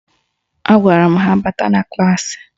Agwara m ha bata na klaasị